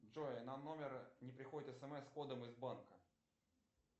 джой на номер не приходит смс с кодом из банка